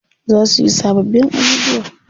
Za suyi sababbin ajujuwa.